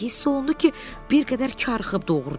Hiss olundu ki, bir qədər karxıb, doğrudur.